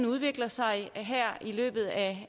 udviklet sig her i løbet af